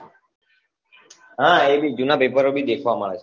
હા એભી જુના પેપરો ભી દેખવા મળે